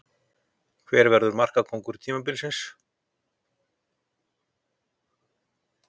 Hver verður markakóngur tímabilsins?